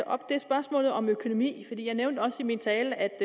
op er spørgsmålet om økonomi jeg nævnte også i min tale at